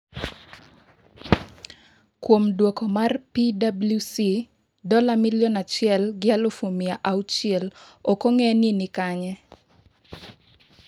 Kuom duoko mar PWC dola milion achiel gi alufu mia auchiel ok ong'ere ni ni kanye.